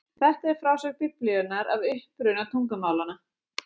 Þetta er frásögn Biblíunnar af uppruna tungumálanna.